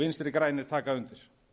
vinstri grænir taka undir